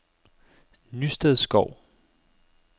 Nystedskov